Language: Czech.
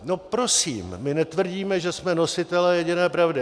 No prosím, my netvrdíme, že jsme nositeli jediné pravdy.